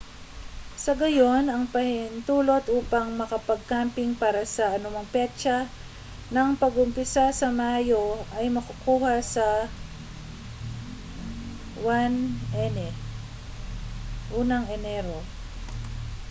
sa gayon ang pahintulot upang makapag-camping para sa anumang petsa ng pag-uumpisa sa mayo ay makukuha sa 1 ene